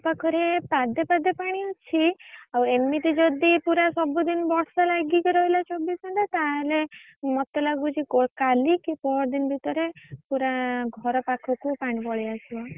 Tubewell ପାଖରେ ପାଦେ ପାଦେ ପାଣି ଅଛି ଆଉ ଏମିତି ଯଦି ପୁରା ସବୁଦିନ ବର୍ଷା ଲାଗିକି ରହିଲା ଚବିଶ ଘଣ୍ଟା ତାହେଲେ ମତେ ଲାଗୁଛି କାଲି କି ପହରଦିନ ଭିତରେ ପୁରା ଘର ପାଖକୁ ପାଣି ପଳେଇଆସିବ।